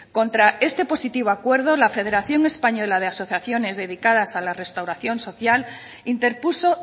contra este positivo acuerdo la federación española de asociaciones dedicadas a la restauración social interpuso